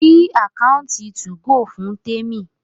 sí Àkáùntì 2go fún Temi!